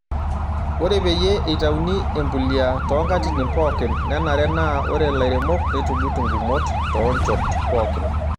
Ore peyie eitayuni embulia toonkatitin pookin, nenare naa ore ilairemok neitugut ngumot too nchoot pookin.